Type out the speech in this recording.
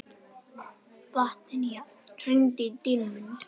Betanía, hringdu í Dýrmund.